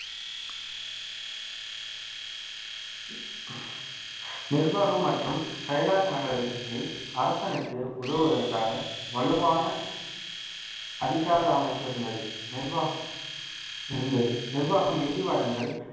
நிர்வாகம் மற்றும் செயலாக்க நடவடிக்கைகளில் அரசனுக்கு உதவுவதற்காக வலுவான அதிகார அமைப்பு இருந்தது நிர்வாகம் இருந்தது நிர்வாகம் நிதி வழங்கல்